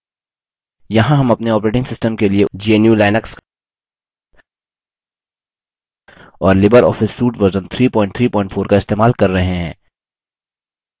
यहाँ हम अपने operating system के लिए gnu/लिनक्स और लिबर ऑफिस suite वर्ज़न 334 इस्तेमाल कर रहे हैं